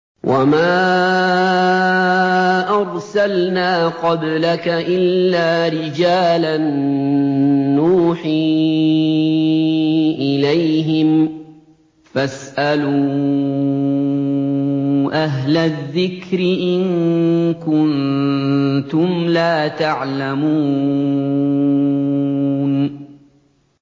وَمَا أَرْسَلْنَا قَبْلَكَ إِلَّا رِجَالًا نُّوحِي إِلَيْهِمْ ۖ فَاسْأَلُوا أَهْلَ الذِّكْرِ إِن كُنتُمْ لَا تَعْلَمُونَ